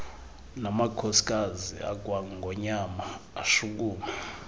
namakhosikazi akwangonyama ashukuma